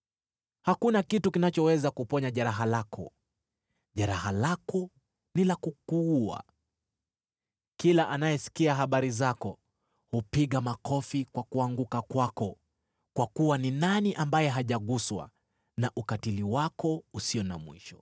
Hakuna kitu kinachoweza kuponya jeraha lako; jeraha lako ni la kukuua. Kila anayesikia habari zako, hupiga makofi kwa kuanguka kwako, kwa kuwa ni nani ambaye hajaguswa na ukatili wako usio na mwisho?